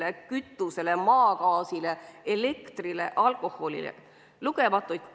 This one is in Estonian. – kütuse-, maagaasi-, elektri- ja alkoholiaktsiisi.